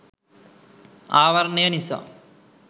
ආවරණය නිසා